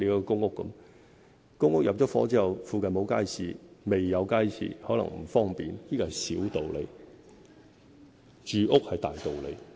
公屋入伙後附近沒有街市或未有街市，可能帶來不便，但這是小道理，住屋才是大道理。